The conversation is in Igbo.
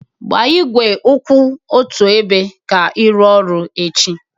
Gbaa igwe kwụ otu ebe ka ị rụọ ọrụ echi